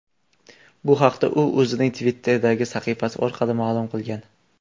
Bu haqda u o‘zining Twitter’dagi sahifasi orqali ma’lum qilgan .